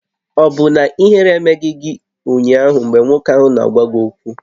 Ọ̀ bụ na ihere emeghị gị ụnyaahụ mgbe nwoke ahụ na-agwa gị okwu?